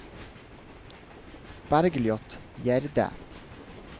Bergliot Gjerde